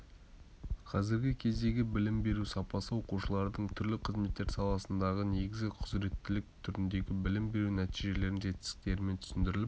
қазіргі кездегі білім беру сапасы оқушылардың түрлі қызметтер саласындағы негізгі құзыреттілік түріндегі білім беру нәтижелерінің жетістіктерімен түсіндіріліп